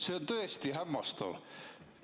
See on tõesti hämmastav.